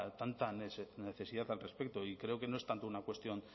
tanta necesidad al respecto y creo que no es tanto una cuestión